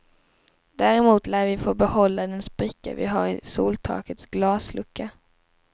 Däremot lär vi få behålla den spricka vi har i soltakets glaslucka.